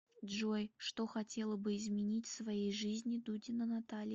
джой что хотела бы изменить в своей жизни дудина наталья